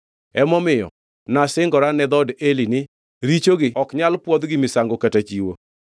Emomiyo nasingora ne dhood Eli ni, ‘Richogi ok nyal pwodh gi misango kata chiwo.’ ”